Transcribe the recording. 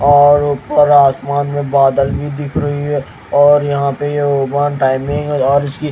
और ऊपर आसमान में बादल भी दिख रही है और यहां पे ये ओपन टाइमिंग और उसकी--